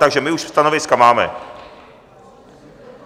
Takže my už stanoviska máme.